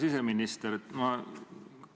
Hea siseminister!